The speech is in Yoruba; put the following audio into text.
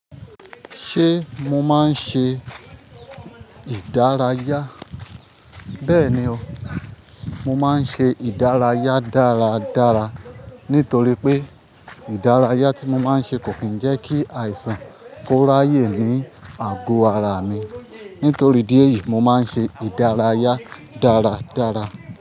Ṣé mo máa ń ṣe ìdárayá? Bẹ́ẹ̀ni o, mo máa ń ṣe ìdárayá dáradára nítorí pé ìdárayá tí mo máa ń ṣe kò kí ń jẹ́ kí àìsàn kó ráyè ní àgọ ara mi. Nítorí ìdí èyí mo máa ń ṣe ìdárayá dáradára.